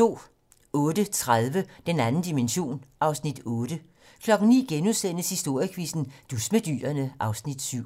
08:30: Den 2. dimension (Afs. 8) 09:00: Historiequizzen: Dus med dyrene (Afs. 7)*